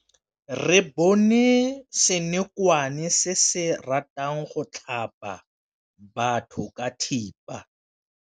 Re bone senokwane se se ratang go tlhaba batho ka thipa.